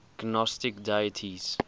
gnostic deities